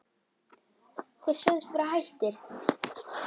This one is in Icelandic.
Þeir sögðust vera hættir.